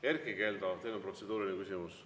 Erkki Keldo, teil on protseduuriline küsimus.